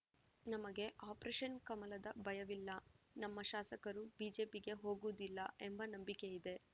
ನಮಗೆ ಆಪರೇಷನ್‌ ಕಮಲದ ಭಯವಿಲ್ಲ ನಮ್ಮ ಶಾಸಕರು ಬಿಜೆಪಿಗೆ ಹೋಗುವುದಿಲ್ಲ ಎಂಬ ನಂಬಿಕೆಯಿದೆ